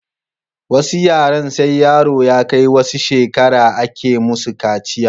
Wasu yaren sai yaro ya kai wasu shekara a ke musu kaciya